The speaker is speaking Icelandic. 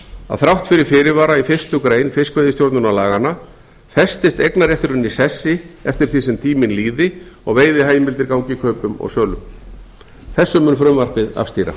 að þrátt fyrir fyrirvara í fyrstu grein fiskveiðistjórnarlaganna festist eignarrétturinn í sessi eftir því sem tíminn líði og veiðiheimilda gangi kaupum og sölum þessu mun frumvarpið afstýra